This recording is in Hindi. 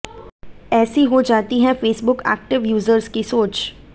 ऐसी हो जाती है फेसबुक एक्टिव यूजर्स की सोच